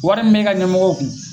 Wari min me ka ɲɛmɔgɔ kun